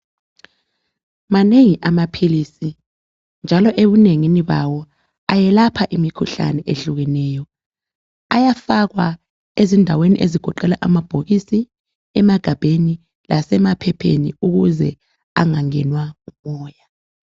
Amanengi amaphilizi njalo ebunengini bawo ayelapha imikhuhlane ehlukeneyo. Ayafakwa eindaweni ezigoqela amabhokisi, emagabheni lasemaphepheni ukuze engangenwa ngumoya.